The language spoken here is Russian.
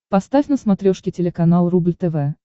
поставь на смотрешке телеканал рубль тв